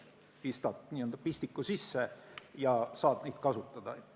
Pistad n-ö pistiku sisse ja saad neid kasutada.